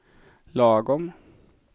lagom